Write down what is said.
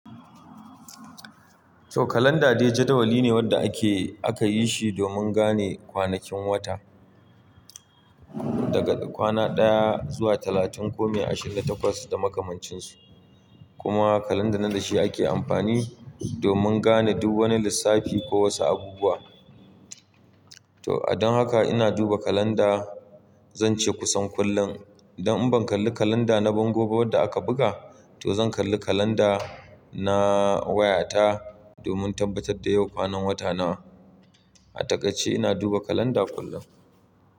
Toh kalanda dai jadawali ne wanda ake, aka yi shi domin gane kwanakin wata daga kwana ɗaya zuwa talatin ko mai ashirin da takwas da makamancinsu. Kuma kalanda nan da shi ake amfani domin gane duk wani lissafi ko wasu abubuwa. Toh a don haka ina duba kalanda zan ce kusan kullum. Idan in ban kalli kalanda na bangon ba wanda aka buga, toh zan kalli kalanda na waya ta domin tabbatar da yau kwanan wata nawa. A takaice ina duba kalanda kullum.